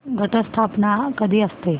घट स्थापना कधी असते